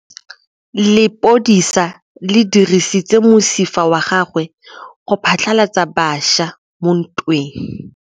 Lepodisa le dirisitse mosifa wa gagwe go phatlalatsa batšha mo ntweng.